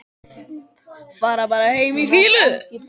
Fara bara heim í fýlu?